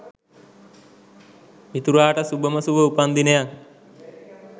මිතුරාට සුභම සුභ උපන් දිනයක්